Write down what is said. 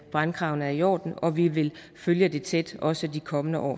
brandkravene er i orden og vi vil følge det tæt også i de kommende år